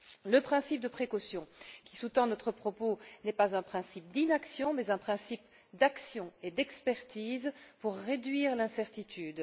Le principe de précaution qui sous tend notre propos n'est pas un principe d'inaction, mais un principe d'action et d'expertise pour réduire l'incertitude.